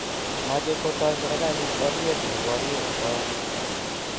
mache kotoi serikalit oret ne porie asoya